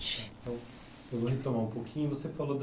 Então eu vou retomar um pouquinho. Você falou da